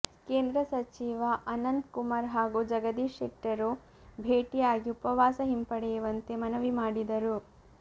ಕೇಂದ್ರ ಸಚಿವ ಅನಂತ್ ಕುಮಾರ್ ಹಾಗೂ ಜಗದೀಶ್ ಶೆಟ್ಟರ್ ಭೇಟಿಯಾಗಿ ಉಪವಾಸ ಹಿಂಪಡೆಯುವಂತೆ ಮನವಿ ಮಾಡಿದರು